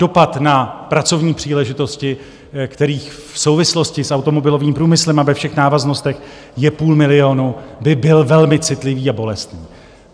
Dopad na pracovní příležitosti, kterých v souvislosti s automobilovým průmyslem a ve všech návaznostech je půl milionu, by byl velmi citlivý a bolestný.